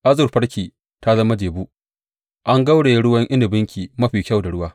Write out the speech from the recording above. Azurfarki ta zama jebu, an gauraye ruwan inabinki mafi kyau da ruwa.